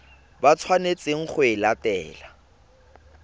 ba tshwanetseng go e latela